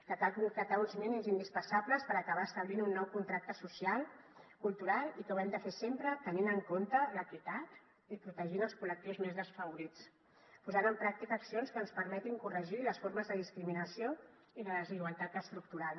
que cal concretar uns mínims indispensables per acabar establint un nou contracte social cultural i que ho hem de fer sempre tenint en compte l’equitat i protegint els col·lectius més desfavorits posant en pràctica accions que ens permetin corregir les formes de discriminació i de desigualtat estructural